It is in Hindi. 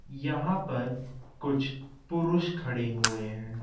यहां पर कुछ पुरुष खड़े हुए हैं।